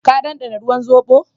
Ka dandana ruwan zobo?